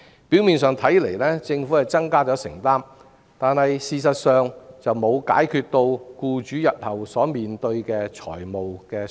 表面上來看，政府是增加了承擔，但事實上卻沒有解決僱主日後所面對的財務負擔。